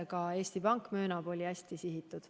Ka Eesti Pank möönab, et see oli hästi sihitud.